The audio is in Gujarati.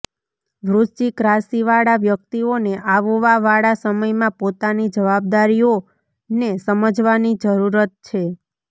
વૃશ્ચિક રાશિ વાળા વ્યક્તિઓને આવવા વાળા સમય માં પોતાની જવાબદારીઓ ને સમજવાની જરૂરત છે